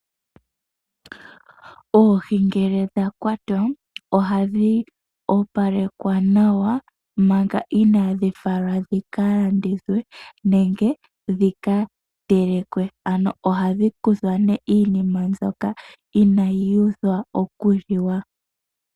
Oohi ngele dha kwatwa ohadhi opalekwa nawa manga inaadhi falwa dhi ka landithwe nenge dhi ka telekwe, ano ohadhi kuthwa nee iinima mbyoka inaayi uthwa okuliwa.